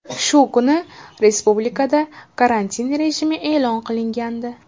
Shu kuni respublikada karantin rejimi e’lon qilingandi .